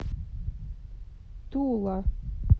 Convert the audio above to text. тула